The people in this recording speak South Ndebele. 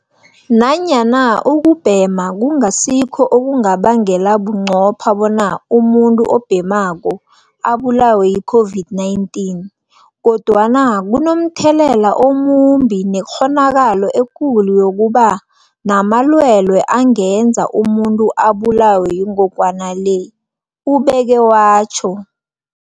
Nanyana ukubhema kungasikho okungabangela bunqopha bona umuntu obhemako abulawe yi-COVID-19, kodwana kunomthelela omumbi nekghonakalo ekulu yokuba namalwele angenza umuntu abulawe yingogwana le, ubeke watjho.